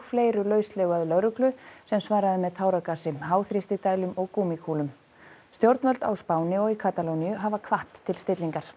fleiru lauslegu að lögreglu sem svaraði með táragasi og gúmmíkúlum stjórnvöld á Spáni og í Katalóníu hafa hvatt til stillingar